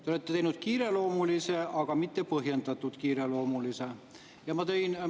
Te olete teinud kiireloomulise, aga mitte põhjendatult kiireloomulise.